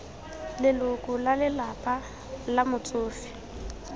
leloko la lelapa la motsofe